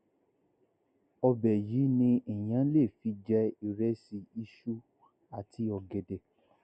ọbẹ yìí ni èèyàn lè fi jẹ ìrẹsì iṣu àti ọgẹdẹ